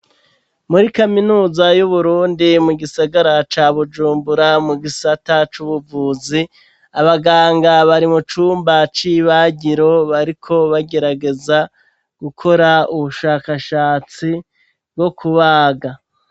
Muri kaminuza y'Uburundi mu gisagara ca Bujumbura mu gisata c'ubuvuzi abaganga bari mu cumba c'ibagiro bariko bagerageza gukora ubushakashatsi bwo kubaga.